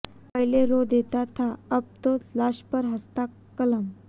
पहले रो देता था अब तो लाश पर हंसता कलम